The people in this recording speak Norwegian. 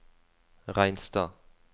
Reinstad